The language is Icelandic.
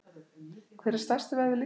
Hver er stærsti vöðvi líkamans?